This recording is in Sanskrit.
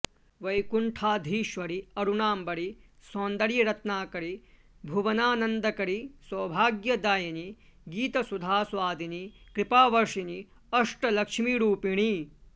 वैकुण्ठाधीश्वरि अरुणाम्बरि सौन्दर्यरत्नाकरि भुवनानन्दकरि सौभाग्यदायिनि गीतसुधास्वादिनि कृपावर्षिणि अष्टलक्ष्मिरूपिणि